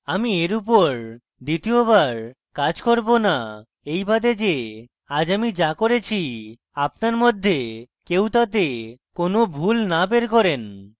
আমি এর উপর দ্বিতীয়বার কাজ করব না এই বাদে যে আজ আমি যা করেছি আপনার মধ্যে কেউ তাতে কোনো ভুল না বের করেন